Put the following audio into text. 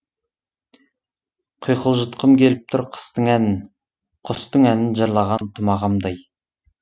құйқылжытқым келіп тұр қыстың әнін құстың әнін жырлаған тұмағамдай